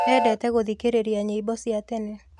Endete gũthikĩrĩria nyĩmbo cia tene.